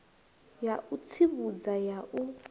ya u tsivhudza ya u